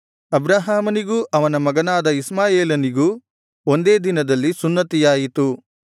ಅಬ್ರಹಾಮನಿಗೂ ಅವನ ಮಗನಾದ ಇಷ್ಮಾಯೇಲನಿಗೂ ಒಂದೇ ದಿನದಲ್ಲಿ ಸುನ್ನತಿಯಾಯಿತು